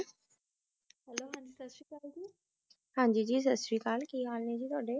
ਹਾਂਜੀ ਜੀ ਸਤਿ ਸ੍ਰੀ ਅਕਾਲ, ਕੀ ਹਾਲ ਨੇ ਜੀ ਤੁਹਾਡੇ?